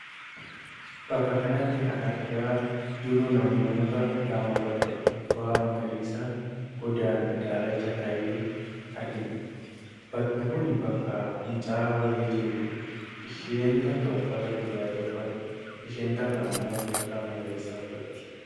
Bakka kanatti kan argaa jirru namoota lama bakka gubbaan magariisa godaan daalacha tahe argina. Bakki kun bakka fincaa'aa wayii jiruudha. Isheen tokko uffata gurraacha uffatti, isheen tokko ammoo uffata magariisa uffatti.